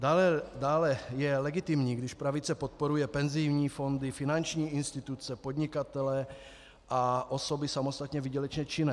Dále je legitimní, když pravice podporuje penzijní fondy, finanční instituce, podnikatele a osoby samostatně výdělečně činné.